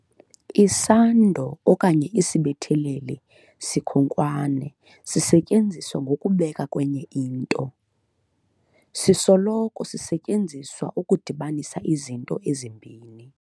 Isando okanye isibetheleli sikhonkwane sisetyenziswa ngokubekwa kwenye into. sisoloko sisetyenziswa ukudibanisa izinto ezimbini.